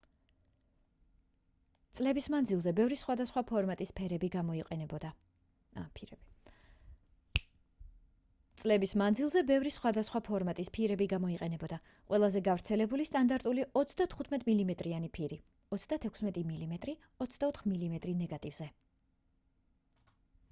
წლების მანძილზე ბევრი სხვადასხვა ფორმატის ფირები გამოიყენებოდა. ყველაზე გავრცელებული სტანდარტული 35 მმ-იანი ფირი 36 მმ 24 მმ ნეგატივზე